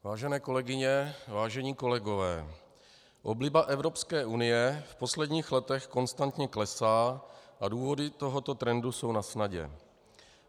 Vážené kolegyně, vážení kolegové, obliba Evropské unie v posledních letech konstantně klesá a důvody tohoto trendu jsou nasnadě.